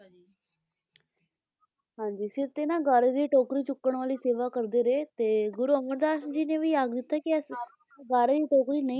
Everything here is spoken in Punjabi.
ਹਾਂਜੀ, ਸਿਰ ਤੇ ਨਾ ਗਾਰੇ ਦੀ ਟੋਕਰੀ ਚੁੱਕਣ ਵਾਲੀ ਸੇਵਾ ਕਰਦੇ ਰਹੇ ਤੇ ਗੁਰੂ ਅਮਰਦਾਸ ਜੀ ਨੇ ਵੀ ਆਖ ਦਿੱਤਾ ਕੇ ਇਸ ਗਾਰੇ ਦੀ ਟੋਕਰੀ ਨਹੀਂ ਹੁੰ ਹੁੰ